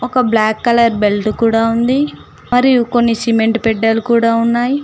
ఒక black colour belt కూడా ఉంది మరియు కొన్ని సిమెంట్ బెడ్డలు కూడా ఉన్నాయ్.